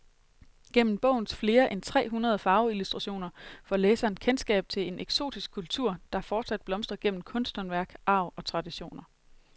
Gennem bogens flere end tre hundrede farveillustrationer får læseren kendskab til en eksotisk kultur, der fortsat blomstrer gennem kunsthåndværk, arv og traditioner.